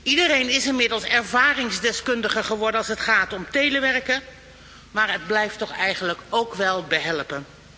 Iedereen is inmiddels ervaringsdeskundige geworden als het gaat om telewerken, maar het blijft toch eigenlijk wel behelpen.